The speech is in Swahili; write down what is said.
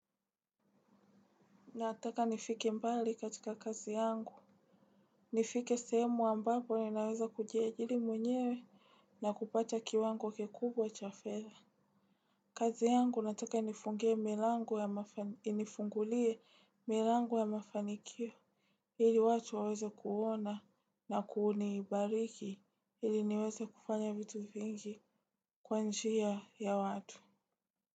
Nataka nifike mbali katika kazi yangu. Nifike sehemu ambapo ninaweza kujiajili mwenyewe na kupata kiwango kikubwa cha fedha. Kazi yangu nataka inifungulie milango ya mafanikio. Ili watu waweze kuona na kuuni ibariki ili niweze kufanya vitu vingi kwanjia ya watu.